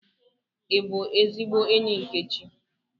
I bu ezigbo enyi Nkechi?